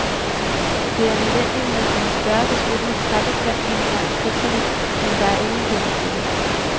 Det er nødvendigt med en større beskyttende træbeplantning langs kysterne, men der er ingen penge til det.